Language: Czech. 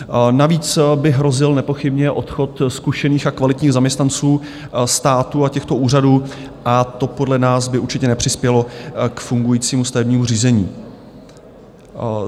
Navíc by hrozil nepochybně odchod zkušených a kvalitních zaměstnanců státu a těchto úřadů, a to podle nás by určitě nepřispělo k fungujícímu stavebnímu řízení.